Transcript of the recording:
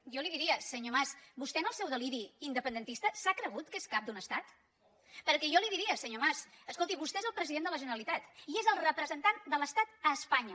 jo li diria senyor mas vostè en el seu deliri independentista s’ha cregut que és cap d’un estat perquè jo li diria senyor mas escolti vostè és el president de la generalitat i és el representant de l’estat a espanya